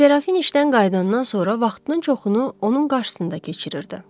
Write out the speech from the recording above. Serafin işdən qayıdandan sonra vaxtının çoxunu onun qarşısında keçirirdi.